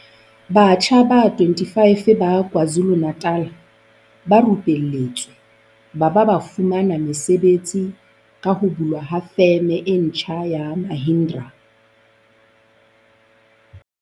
Batjha ba 25 ba KwaZu lu-Natal ba rupelletswe ba ba ba fumana mesebetsi ka ho bulwa ha Feme e ntjha ya Mahindra.